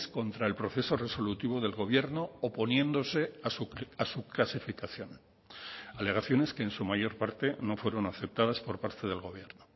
contra el proceso resolutivo del gobierno oponiéndose a su clasificación alegaciones que en su mayor parte no fueron aceptadas por parte del gobierno